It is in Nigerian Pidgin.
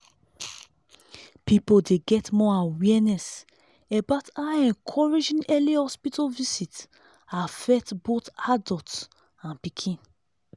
people dey get more awareness about how encouraging early hospital visit affect both adults and pikin.